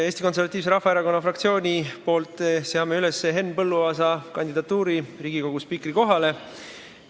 Eesti Konservatiivse Rahvaerakonna fraktsioon seab üles Henn Põlluaasa kandidatuuri Riigikogu spiikri kohale.